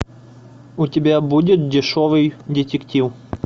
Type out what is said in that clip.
у тебя будет дешевый детектив